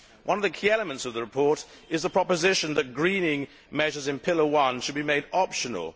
One of the key elements of the report is the proposition that greening measures in pillar one should be made optional.